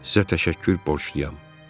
Sizə təşəkkür borcluyam.